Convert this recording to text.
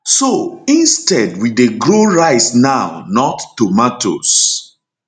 so instead we dey grow rice now not tomatoes